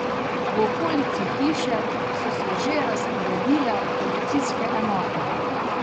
V okolici hiše so se že razporedile policijske enote.